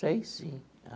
Sei sim.